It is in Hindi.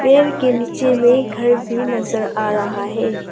पेर के नीचे में एक घर भी नजर आ रहा है।